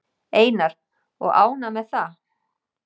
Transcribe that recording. Einar: Og ánægð með það?